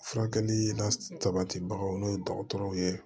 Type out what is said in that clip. Furakɛli la sabatibagaw n'o ye dɔgɔtɔrɔw ye